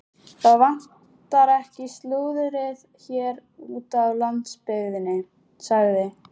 Það vantar ekki slúðrið hér úti á landsbyggðinni sagði